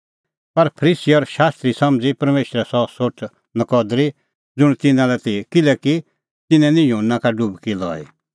पर फरीसी और शास्त्री समझ़ी परमेशरे सह सोठ नकदरी ज़ुंण तिन्नां लै ती किल्हैकि तिन्नैं निं युहन्ना का डुबकी लई